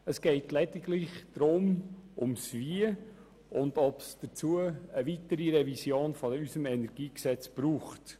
Es geht lediglich um das Wie und ob es dazu eine weitere Revision unseres Energiegesetzes braucht.